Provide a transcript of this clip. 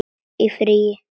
Í frí.